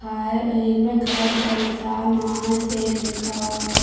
खा है और इस में घर संसार महा सेल लिखा हुआ है।